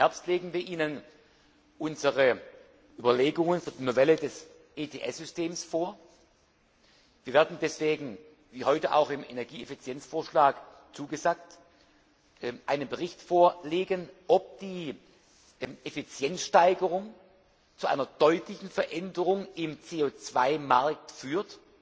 Im Herbst legen wir Ihnen unsere Überlegungen für die Novelle des ETS Systems vor. Wir werden deswegen, wie heute auch im Energieeffizienzvorschlag zugesagt, einen Bericht dazu vorlegen, ob die Effizienzsteigerung zu einer deutlichen Veränderung im CO 2 Markt führt.